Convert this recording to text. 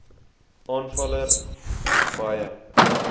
aanvaller s baie